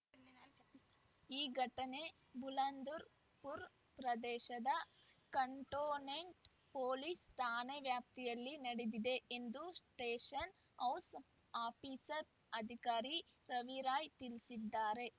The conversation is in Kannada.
ಈ ಘಟನೆ ಬುಲಂದರ್ ಪುರ್ ಪ್ರದೇಶದ ಕಂಟೋನೆಂಟ್ ಪೊಲೀಸ್ ಠಾಣಾ ವ್ಯಾಪ್ತಿಯಲ್ಲಿ ನಡೆದಿದೆ ಎಂದು ಸ್ಟೇಷನ್ ಹೌಸ್ ಆಫೀಸರ್ ಅಧಿಕಾರಿ ರವಿರಾಯ್ ತಿಳಿಸಿದ್ದಾರೆ